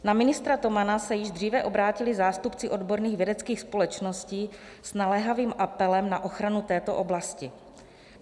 Na ministra Tomana se již dříve obrátili zástupci odborných vědeckých společností s naléhavým apelem na ochranu této oblasti.